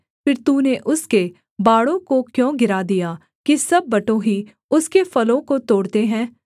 फिर तूने उसके बाड़ों को क्यों गिरा दिया कि सब बटोही उसके फलों को तोड़ते है